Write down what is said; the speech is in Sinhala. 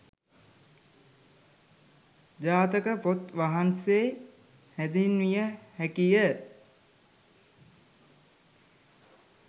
ජාතක පොත් වහන්සේ හැඳින්විය හැකිය.